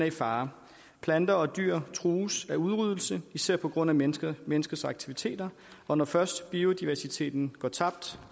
i fare planter og dyr trues af udryddelse især på grund af menneskers menneskers aktiviteter og når først biodiversiteten går tabt